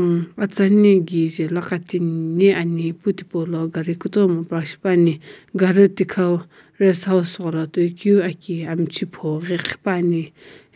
umm atsani kije laqa timi ghi ani ipu tipaulo gari kutomu park shipa ani gari thikau rest house ghola tokiu aki amchi pho ghi khipa ani